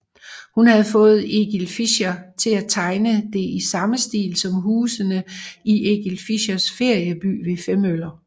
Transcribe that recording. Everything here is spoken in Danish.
Hun havde fået Egil Fischer til at tegne det i samme stil som husene i Egil Fischers Ferieby ved Femmøller